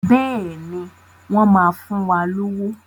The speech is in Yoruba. Bẹ́ẹ̀ni, wọ́n máa fún wa lówó.